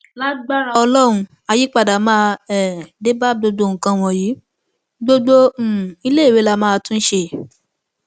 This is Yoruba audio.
lagbára ọlọrun àyípadà máa um dé bá gbogbo nǹkan wọnyí gbogbo um iléèwé làwa máa tún ṣe